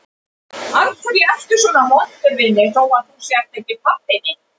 Af hverju ertu svona vondur við mig þó að þú sért ekki pabbi minn?